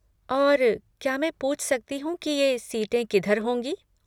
और क्या मैं पूछ सकती हूँ कि ये सीटें किधर होंगी?